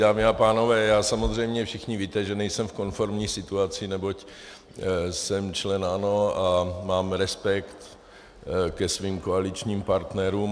Dámy a pánové, já samozřejmě, všichni víte, že nejsem v konformní situaci, neboť jsem člen ANO a mám respekt ke svým koaličním partnerům.